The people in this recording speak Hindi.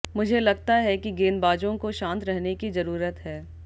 मुझे लगता है कि गेंदबाजों को शांत रहने की जरूरत है